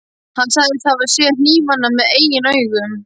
Hann sagðist hafa séð hnífana með eigin augum.